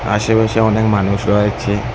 আশেপাশে অনেক মানুষও আছে।